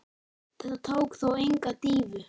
Þetta tók þó enga dýfu.